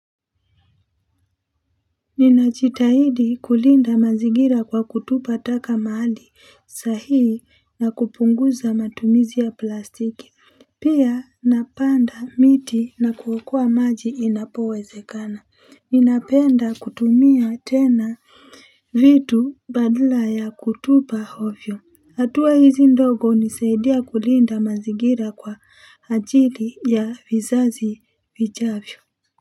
Ninajitahidi kulinda mazigira kwa kutupa taka mahali sahihi na kupunguza matumizi ya plastiki. Pia napanda miti na kuokoa maji inapowezekana. Ninapenda kutumia tena vitu badala ya kutupa ovyo. Hatua hizi ndogo hunisaidia kulinda mazingira kwa ajili ya vizazi vijavyo.